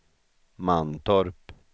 Mantorp